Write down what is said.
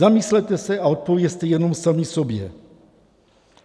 Zamyslete se a odpovězte jenom sami sobě.